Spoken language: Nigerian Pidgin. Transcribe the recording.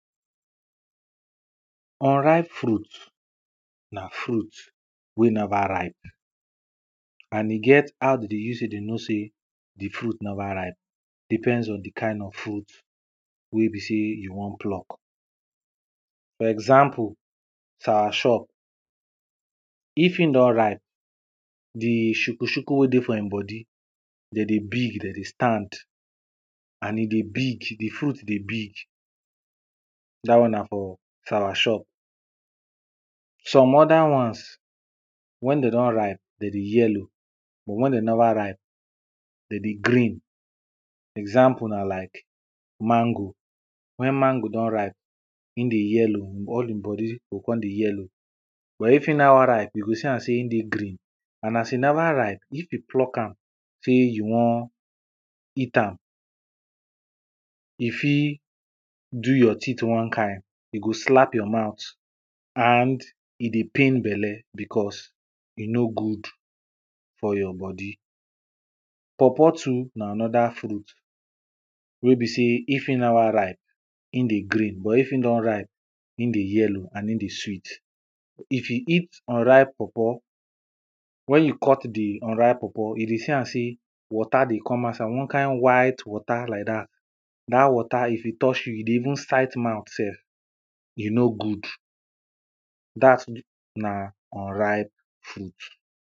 unripe fruit na fruit wey never ripe, and e get how dem dey use take dey know sey di fruit never ripe, depends on di kind of fruit wey be sey you wan pluck. for example, soursop. if in don ripe, di shuku shuku wey dey for im body dem dey big dem dey stand and e dey big di fruit dey big. dat one na for soursop. some other ones, wen dem don ripe, dem dey yellow but wen dem never ripe dem dey green example na like mango, wen mango don ripe im dey yellow, all im body go come dey yellow. but if e never ripe you go see am sey im dey green and as e never ripe if you pluck am sey you wan eat am, e fit do your teeth one kind, e go slap your mouth and e dey pain belle, because e nor good for your body. pawpaw too na another fruit. wen be sey, if e never ripe im dey green but if im don ripe e dey yellow and e dey sweet. if you eat unripe pawpaw, when you cut di unripe pawapaw you dey see am sey water dey come outside wan kind white water like dat, dat water if e touch you e dey even site mouth sef. e nor good, dat na unripe fruit.